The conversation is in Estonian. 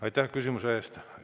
Aitäh küsimuse eest!